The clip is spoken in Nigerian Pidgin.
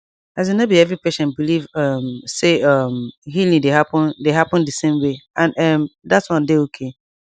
asin no be every patient believe um say um healing dey happen dey happen di same way and ehm that one dey okay